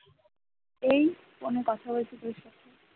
এই ফোনে কথা বলছি তোর সাথে ।